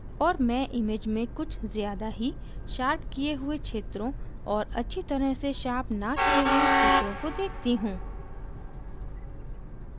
और मैं image में कुछ ज़्यादा ही शार्प किये हुए क्षेत्रों और अच्छी तरह से शार्प न किये हुए क्षेत्रों को देखती हूँ